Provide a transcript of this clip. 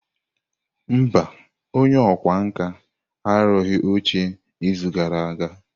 Mba, onye ọkwá nkà arụghị oche n'izu gara aga.